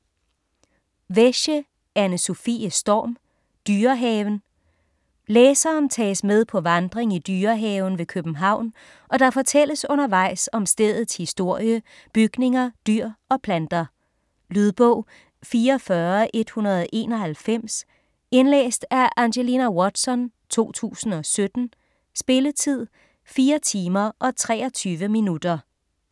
Wesche, Anne-Sofie Storm: Dyrehaven Læseren tages med på vandring i Dyrehaven ved København, og der fortælles undervejs om stedets historie, bygninger, dyr og planter. Lydbog 44191 Indlæst af Angelina Watson, 2017. Spilletid: 4 timer, 23 minutter.